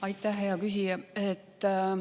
Aitäh, hea küsija!